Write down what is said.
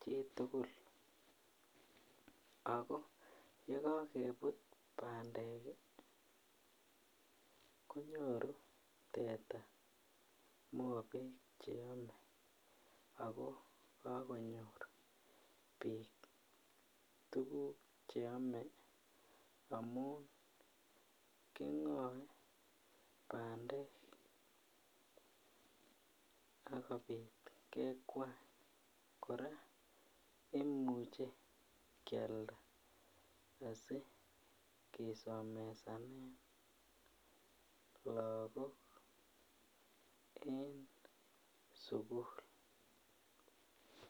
chitugul ago yekogebut bandek konyoru teta mobek che ome ago kakonyor bik tuguk che ome amun kingoe bandek akobit kekwany korak imuche kialda asi kisomesanen lagok eng sukul.